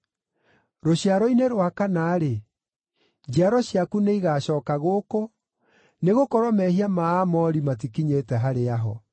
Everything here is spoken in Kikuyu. Rũciaro-inĩ rwa kana-rĩ, njiaro ciaku nĩigacooka gũkũ, nĩgũkorwo mehia ma Aamori matikinyĩte harĩa ho.”